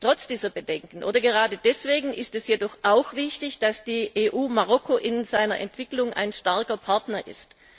Trotz dieser Bedenken oder gerade deswegen ist es jedoch auch wichtig, dass die EU Marokko in seiner Entwicklung ein starker Partner ist.